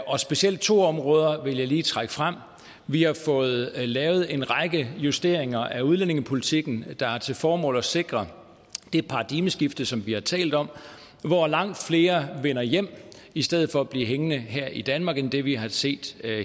og specielt to områder vil jeg lige trække frem vi har fået lavet en række justeringer af udlændingepolitikken der har til formål at sikre det paradigmeskifte som vi har talt om hvor langt flere vender hjem i stedet for at blive hængende her i danmark end vi har set